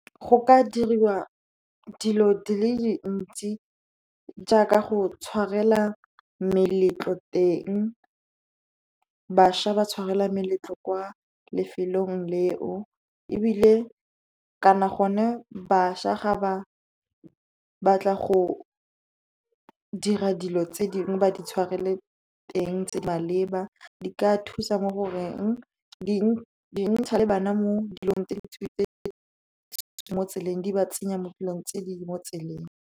Go ka diriwa dilo di le dintsi jaaka go tshwarela meletlo teng. Bašwa ba tshwarela meletlo kwa lefelong leo. Kana gone bašwa ga ba batla go dira dilo tse dingwe, ba di tshwarele teng, tse di maleba di ka thusa mo goreng di ntsha le bana mo dilong tse di tswileng mo tseleng, di ba tsenya mo dilong tse di mo tseleng.